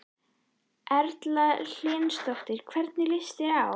Erla Hlynsdóttir: Hvernig líst þeim á?